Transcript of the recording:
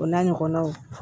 O n'a ɲɔgɔnnaw